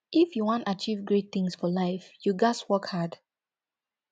if you wan achieve great things for life you ghas work hard